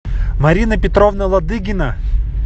марина петровна ладыгина